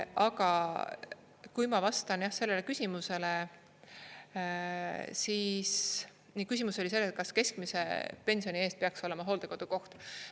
Aga kui ma vastan sellele küsimusele, siis küsimus oli selles, kas keskmise pensioni eest peaks olema hooldekodukoht.